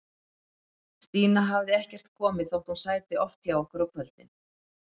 Stína hafði ekkert komið, þótt hún sæti oft hjá okkur á kvöldin.